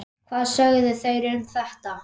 Hvað sögðu þeir um þetta?